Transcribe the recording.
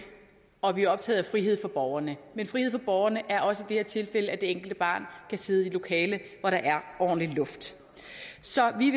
og vi er optaget af frihed for borgerne men frihed for borgerne er også i det her tilfælde at det enkelte barn kan sidde i et lokale hvor der er ordentlig luft så vi